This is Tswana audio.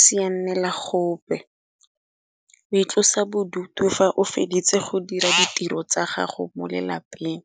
sianela gope o itlosa bodutu fa o feditse go dira ditiro tsa gago mo lelapeng.